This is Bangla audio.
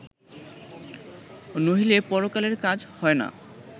নহিলে পরকালের কাজ হয় না